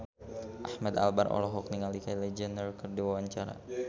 Ahmad Albar olohok ningali Kylie Jenner keur diwawancara